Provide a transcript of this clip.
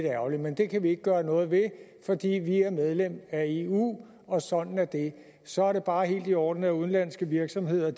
ærgerligt men det kan vi ikke gøre noget ved fordi vi er medlem af eu og sådan er det så er det bare helt i orden at udenlandske virksomheder